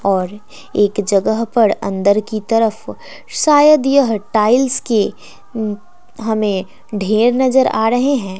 और एक जगह पर अंदर की तरफ शायद यह टाइल्स के उ हमें ढेर नजर आ रहे हैं।